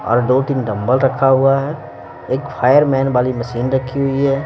और दो-तीन डंबल रखा हुआ है एक फायरमैन वाली मशीन रखी हुई है.